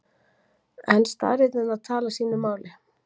En staðreyndirnar tala sínu máli.